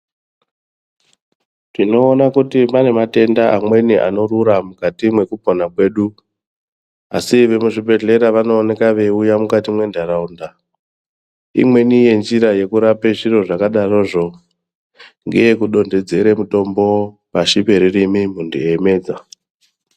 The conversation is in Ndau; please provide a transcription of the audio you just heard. Tinoona kuti pane matenda amweni anrura mukati mwekupona kwedu dzedu asi vemu zvibhedhlera vanooneka veyiuya mukati mwendaraunda imweni yenjira yekurape zviro zvakadarozvo ndeye kudonhedzera mutombo pahi perurimi muntu echimedza.